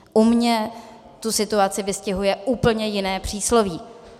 U mě tu situaci vystihuje úplně jiné přísloví.